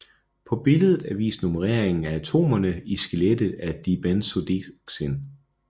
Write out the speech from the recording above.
På billedet er vist nummereringen af atomerne i skelettet af dibenzodioxin